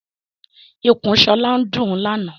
Ikùn Shola ndún làna.